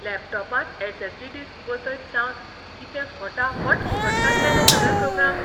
लॅपटॉपांत SSD. Disk बसयत सावन कितें फटाफट उगडटात रे सगळे प्रॉग्राम्स.